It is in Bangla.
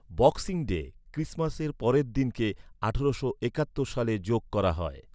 বক্সিং ডে, ক্রিসমাসের পরের দিনকে, আঠারোশো একাত্তর সালে যোগ করা হয়।